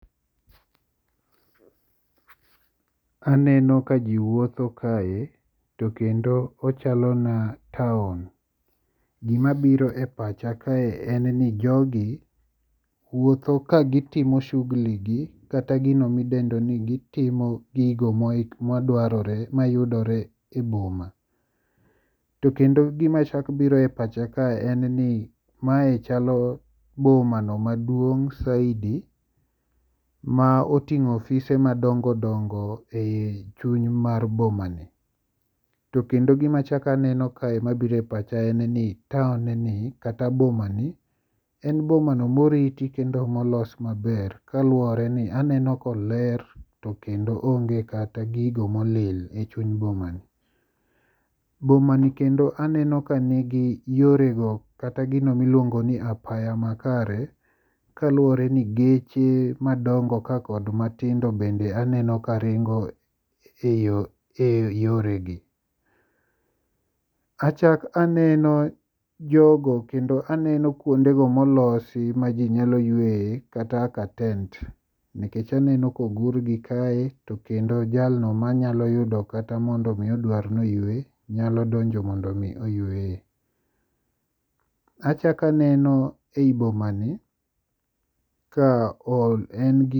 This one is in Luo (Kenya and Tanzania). Aneno ka ji wuotho kae to kendo ochalo na taon. Gimabiro e pacha kae en ni jogi wuotho kagitimo shugli gi kata gino midendo ni gitimo gigo mayudore e boma. To kendo gimachak biro e pacha kae en ni mae chalo bomano maduong' saidi ma oting'o ofise madongodongo e chuny mar bomani, to kendo gimachako aneno kae mabiro e pacha en ni taonni kata bomani en bomano moriti ke ndo molos maber kaluwore ni aneno koler to kendo onge kata gigo molil e chuny bomani. Bomani kendo aneno kanigi yorego kata gino miluongo ni apaya makare, kaluowore ni geche madongo ka kod matindo bende aneno karingo e yoregi. Achak aneno jogo kendo aneno kuondego molosi ma ji nyalo yueye kata kaka tent nikech aneno kogurgi kae to kendo jalno manyalo yudo kata mondo omi odwar noyue nyalo donjo mondo omi oyueye. Achakaneno e i bomani ka en gi..